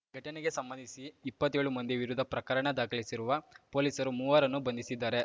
ಘಟನೆಗೆ ಸಂಬಂಧಿಸಿ ಇಪ್ಪತ್ತೇಳು ಮಂದಿ ವಿರುದ್ಧ ಪ್ರಕರಣ ದಾಖಸಿರುವ ಪೊಲೀಸರು ಮೂವರನ್ನು ಬಂಧಿಸಿದ್ದಾರೆ